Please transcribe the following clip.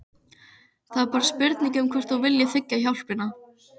Það er bara spurning um hvort þú viljir þiggja hjálpina.